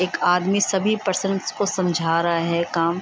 एक आदमी सभी पर्सन्स को समझा रहा है काम।